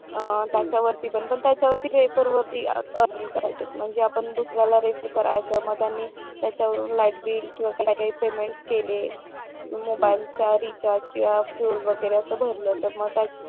त्याच्यावरती पण त्याच्यवा वेहिकल वरती अर्निंग करायचंय म्हणजे आपण दुसर्यांना रेफर करायचं मग त्याच्यावर लाईटबील किंवा त्याला काही पेमेंट केलय मोबाईलचा रिचार्ज किंवा फ्युल वगैरे असं काही भरलं तर मग